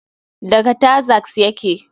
Daga taxas yake.